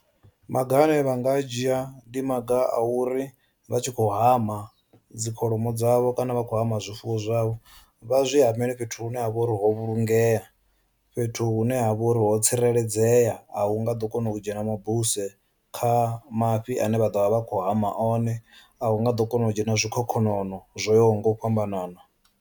Maga ane vha nga a dzhia ndi maga a uri vha tshi khou hama dzi kholomo dzavho kana vha khou hama zwifuwo zwavho vha zwi hamele fhethu hune ha vha uri ho vhulungea, fhethu hune ha vha uri ho tsireledzea a hu nga ḓo kona u dzhena mabuse kha mafhi ane vha ḓovha vha kho hama one a hu nga ḓo kona u dzhena zwikhokhonono zwo yaho nga u fhambanana.